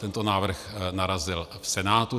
Tento návrh narazil v Senátu.